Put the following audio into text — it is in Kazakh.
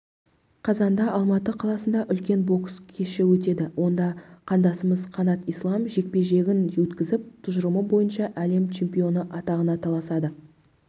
қазанда алматы қаласында үлкен бокс кеші өтеді онда қандасымыз қанат ислам жекпе-жегін өткізіп тұжырымы бойынша әлем чемпионы атағына таласады